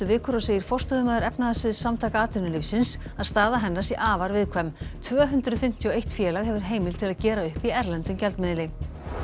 vikur og segir forstöðumaður Samtaka atvinnulífsins að staða hennar sé afar viðkvæm tvö hundruð fimmtíu og eitt félag hefur heimild til að gera upp í erlendum gjaldmiðli